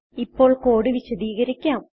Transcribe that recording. ഇപ്പോൾ കോഡ് വിശദീകരിക്കാം